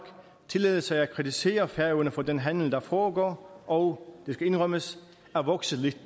tillade sig at kritisere færøerne for den handel der foregår og det skal indrømmes er vokset lidt